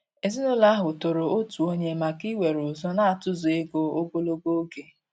Èzìnụlọ ahụ tòrò òtù ònye maka íwere ụzọ natụ̀zụ̀ égò ogologo oge.